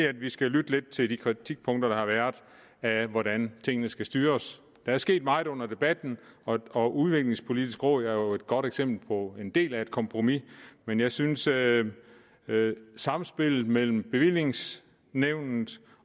at vi skal lytte lidt til de kritikpunkter der har været af hvordan tingene skal styres der er sket meget under debatten og udviklingspolitisk råd er jo et godt eksempel på en del af et kompromis men jeg synes at samspillet mellem bevillingsnævnet